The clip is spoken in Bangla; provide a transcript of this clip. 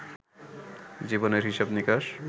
জীবনের হিসাব-নিকাশ